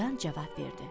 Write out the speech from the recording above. Cırtdan cavab verdi.